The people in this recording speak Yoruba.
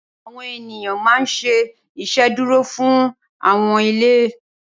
Awòn éniyàn mà n ṣé Ìṣédùró fún áwòn ilé